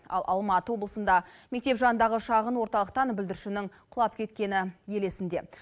ал алматы облысында мектеп жанындағы шағын орталықтан бүлдіршіннің құлап кеткені ел есінде